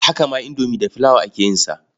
Haka ma indomi da flour aka yin sa.